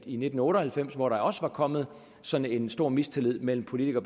i nitten otte og halvfems hvor der også var kommet sådan en stor mistillid mellem politikere